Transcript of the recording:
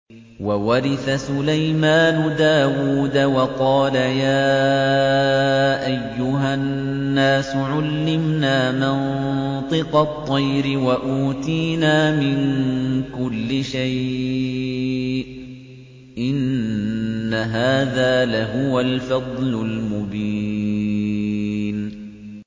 وَوَرِثَ سُلَيْمَانُ دَاوُودَ ۖ وَقَالَ يَا أَيُّهَا النَّاسُ عُلِّمْنَا مَنطِقَ الطَّيْرِ وَأُوتِينَا مِن كُلِّ شَيْءٍ ۖ إِنَّ هَٰذَا لَهُوَ الْفَضْلُ الْمُبِينُ